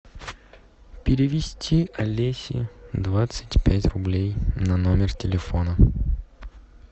перевести олесе двадцать пять рублей на номер телефона